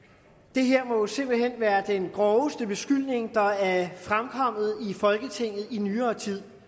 det her må jo simpelt hen være den groveste beskyldning der er fremkommet i folketinget i nyere tid